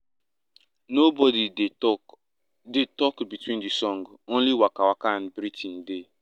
nobody dey talk dey talk between the song — only waka and breathing dey.